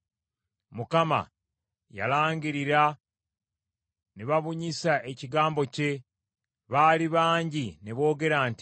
Mukama yalangirira; ne babunyisa ekigambo kye; baali bangi ne boogera nti: